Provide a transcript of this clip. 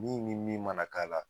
Min min min mana k'a la.